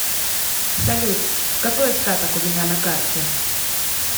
салют какой остаток у меня на карте